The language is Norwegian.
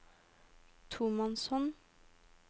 tomannshånd